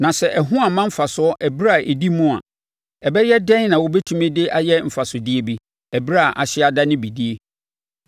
Na sɛ ɛho amma mfasoɔ ɛberɛ a ɛdi mu a, ɛbɛyɛ den na wɔbɛtumi de ayɛ mfasodeɛ bi, ɛberɛ a ahye adane bidie?